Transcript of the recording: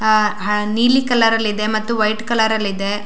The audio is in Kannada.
ಅಹ್ ಹ ನೀಲಿ ಕಲರಲ್ಲಿ ಇದೆ ಮತ್ತು ವೈಟ್ ಕಲರಲ್ಲಿ ಇದೆ.